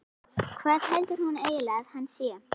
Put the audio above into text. Hvað heldur hún eiginlega að hann sé?